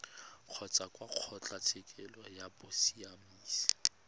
kgotsa kwa kgotlatshekelo ya bosiamisi